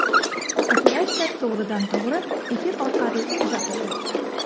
Operatsiya to‘g‘ridan-to‘g‘ri efir orqali uzatildi.